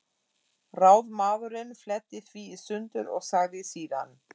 Ráðsmaðurinn fletti því í sundur og sagði síðan